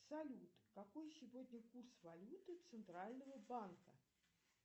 салют какой сегодня курс валюты центрального банка